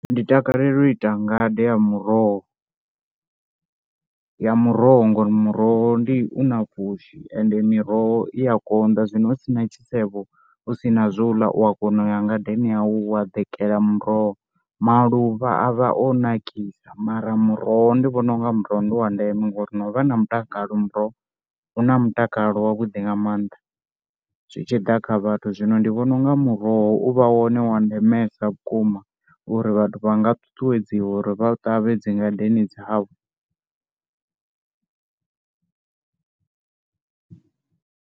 Ndi takalela u ita nga de ya muroho, ya muroho ngori muroho ndi u na pfushi ende miroho i ya konḓa. Zwino hu si na tshisevho hu si na zwo ḽa u a kona u ya ngadeni yau wa ḓikela muroho, maluvha a vha o nakisa mara muroho ndi vhona u nga muroho ndi wa ndeme ngori no vha na mutakalo muroho u na mutakalo wavhuḓi nga maanḓa zwi tshi ḓa kha vhathu. Zwino ndi vhona u nga muroho u vha wone wa ndemesa vhukuma uri vhathu vha nga ṱuṱuwedziwa uri vha u ṱavhe dzi ngadeni dzavho.